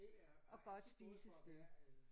Og godt spisested